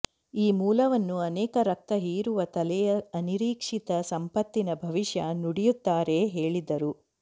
ಈ ಮೂಲವನ್ನು ಅನೇಕ ರಕ್ತ ಹೀರುವ ತಲೆಯ ಅನಿರೀಕ್ಷಿತ ಸಂಪತ್ತಿನ ಭವಿಷ್ಯ ನುಡಿಯುತ್ತಾರೆ ಹೇಳಿದರು